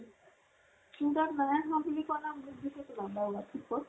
তোৰ তাত নাই আহা বুলি কলে